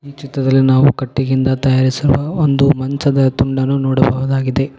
ಈ ಚಿತ್ರದಲ್ಲಿ ನಾವು ಕಟ್ಟಿಗೆಯಿಂದ ತಯಾರಿಸಲು ಒಂದು ಮಂಚದ ತುಂಡನ್ನು ನೋಡಬಹುದಾಗಿದೆ.